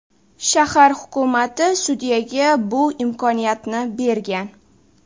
Shahar hukumati sudyaga bu imkoniyatni bergan.